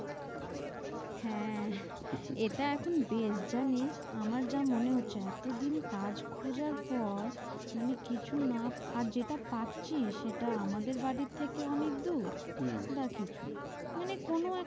হ্যাঁ, এটা এখন best জানিস? আমার যা মনে হচ্ছে। এত দিন কাজ খোঁজার পর মানে কিছু না পেলে, আর যেটা পাচ্ছি সেটা আমাদের বাড়ির থেকে অনেক দূর হম বা কিছু মানে কোনো একটা,